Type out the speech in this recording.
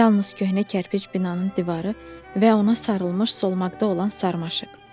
Yalnız köhnə kərpic binanın divarı və ona sarılmış solmaqda olan sarmaşıq.